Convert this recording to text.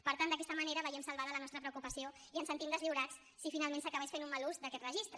per tant d’aquesta manera veiem salvada la nostra preocupació i ens sentim deslliurats si finalment s’acabés fent un mal ús d’aquest registre